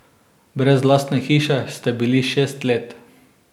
Brez lastne hiše ste bili šest let.